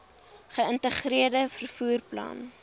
geïntegreerde vervoer plan